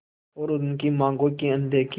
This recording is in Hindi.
और उनकी मांगों की अनदेखी